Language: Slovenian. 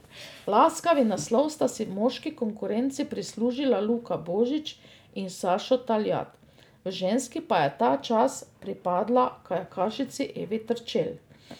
Laskavi naslov sta si v moški konkurenci prislužila Luka Božič in Sašo Taljat, v ženski pa je ta čast pripadla kajakašici Evi Terčelj.